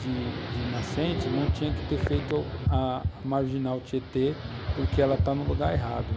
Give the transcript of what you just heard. de nascente, não tinha que ter feito a marginal Tietê, porque ela está no lugar errado.